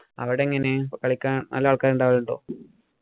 അവിടെ എങ്ങനെയാ? കളിക്കാന്‍ നല്ല ആള്‍ക്കാരുണ്ടോ?